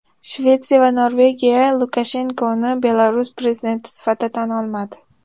Shvetsiya va Norvegiya Lukashenkoni Belarus prezidenti sifatida tan olmadi.